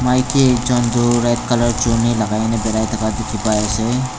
maiki ekjon tuh lagai na birai thaka dikhi pai ase.